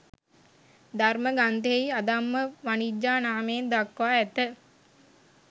ධර්ම ග්‍රන්ථයෙහි අධම්ම වණිජ්ජා නාමයෙන් දක්වා ඇත.